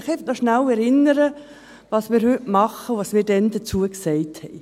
Ich möchte Sie daran erinnern, was wir heute tun und was wir damals dazu sagten.